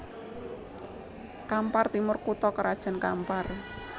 Kampar Timur kutha krajan Kampar